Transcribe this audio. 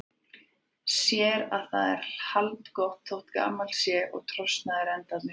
Sér að það er haldgott þótt gamalt sé og trosnaðir endarnir.